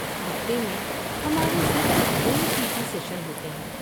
ہفتے میں ہمارے صرف دو پی ٹی سیشن ہوتے ہیں۔